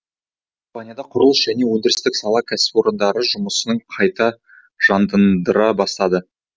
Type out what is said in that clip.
испанияда құрылыс және өндірістік сала кәсіпорындары жұмысын қайта жандандыра бастады